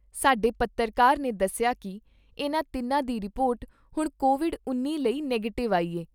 ਸਾਡੇ ਪੱਤਰਕਾਰ ਨੇ ਦੱਸਿਆ ਕਿ ਇਨ੍ਹਾਂ ਤਿੰਨਾਂ ਦੀ ਰਿਪੋਰਟ ਹੁਣ ਕੋਵਿਡ ਉੱਨੀ ਲਈ ਨੈਗੇਟਿਵ ਆਈ ਐ।